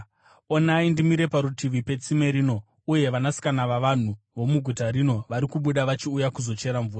Onai, ndimire parutivi petsime rino, uye vanasikana vavanhu vomuguta rino vari kubuda vachiuya kuzochera mvura.